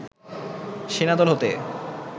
সেনা দল হতে